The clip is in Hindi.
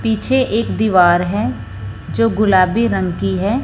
पीछे एक दीवार है जो गुलाबी रंग की हैं।